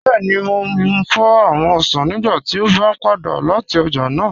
Bẹẹ̀ni, mò fọ́ awọn osàn nígbà tí a bá padà lati ọ̀já náà